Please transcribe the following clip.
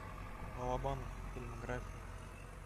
балабанов фильмография